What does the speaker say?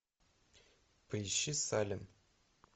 поищи салем